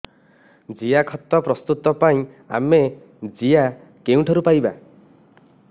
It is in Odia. ଜିଆଖତ ପ୍ରସ୍ତୁତ ପାଇଁ ଆମେ ଜିଆ କେଉଁଠାରୁ ପାଈବା